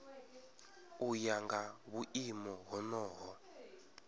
u ya nga vhuimo honoho